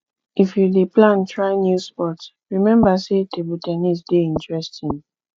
if you dey plan try new sport rememba sey table ten nis dey interesting